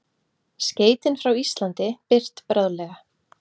Skeytin frá Íslandi birt bráðlega